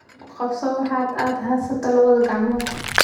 Ku qabso waxa aad haysato labada gacmood.